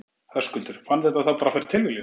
Höskuldur: Fann þetta þá bara fyrir tilviljun?